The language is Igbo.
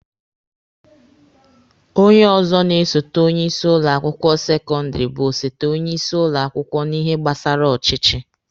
Onye ọzọ na-esote onye isi ụlọ akwụkwọ sekọndịrị bụ osote onye isi ụlọ akwụkwọ n'ihe gbasara ọchịchị.